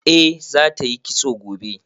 Eh za ta yi kitso gobe